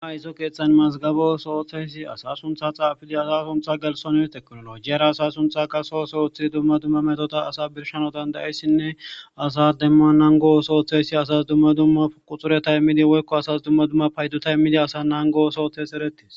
ama izo keeththan mazgabo sooththeysi asa suntha xaafidi asa suntha galsoni teknolojiyara asa suntha qaso soothi dumma dumma metota asa birshano dandayissinne asas demma nangoo sooththeysi asas dumma dumma uquxureta immidi woykko asas dumma duma payduta immidi asa nangoosoothes eretis.